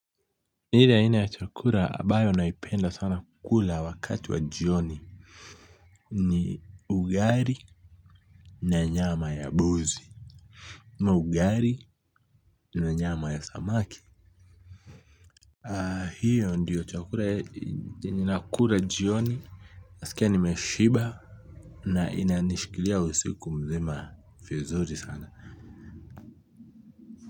Ile aina ya chakula ambayo naipenda sana kukula wakati wa jioni ni ugali na nyama ya mbuzi ama ugali na nyama ya samaki hiyo ndiyo chakula yenye nakula jioni nasikia nimeshiba na inanishikilia usiku mzima vizuri sana.